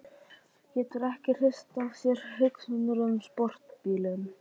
Getur ekki hrist af sér hugsanirnar um sportbílinn.